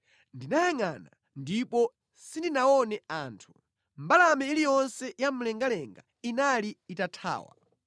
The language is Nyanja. Ndinayangʼana, ndipo sindinaone anthu; mbalame iliyonse ya mlengalenga inali itathawa.